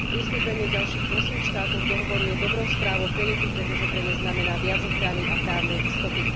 Pristúpenie ďalších ôsmich štátov k dohovoru je dobrou správou pre deti, pretože pre ne znamená viac ochrany a právnej istoty.